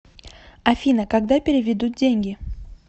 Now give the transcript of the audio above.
афина когда переведут деньги